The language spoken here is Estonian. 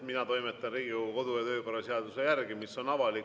Mina toimetan Riigikogu kodu‑ ja töökorra seaduse järgi, mis on avalik.